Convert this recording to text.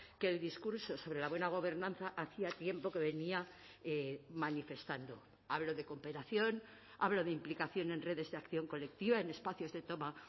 que el discurso sobre la buena gobernanza hacía tiempo que venía manifestando hablo de cooperación hablo de implicación en redes de acción colectiva en espacios de toma